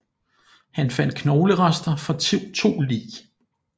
Han fandt knoglerester fra to lig